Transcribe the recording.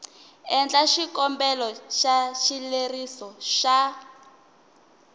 endla xikombelo xa xileriso xa